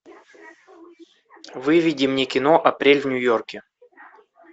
выведи мне кино апрель в нью йорке